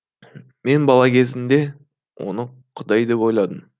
мен бала кезімде оны құдай деп ойладым